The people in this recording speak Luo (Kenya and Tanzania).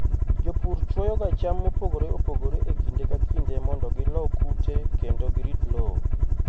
Jopur chwoyoga cham mopogore opogore e kinde ka kinde mondo gilo kute kendo girit lowo.